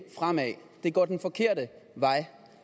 fremad det går den forkerte vej